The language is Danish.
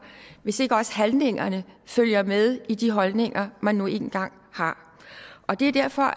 hvis ikke også handlingerne følger med i de holdninger man nu engang har det er derfor